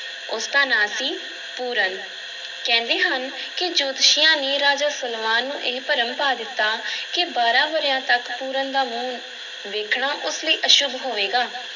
ਉਸ ਦਾ ਨਾਂ ਸੀ ਪੂਰਨ, ਕਹਿੰਦੇ ਹਨ ਕਿ ਜੋਤਸ਼ੀਆਂ ਨੇ ਰਾਜਾ ਸਲਵਾਨ ਨੂੰ ਇਹ ਭਰਮ ਪਾ ਦਿੱਤਾ ਕਿ ਬਾਰਾਂ ਵਰ੍ਹਿਆਂ ਤੱਕ ਪੂਰਨ ਦਾ ਮੂੰਹ ਵੇਖਣਾ ਉਸ ਲਈ ਅਸ਼ੁਭ ਹੋਵੇਗਾ।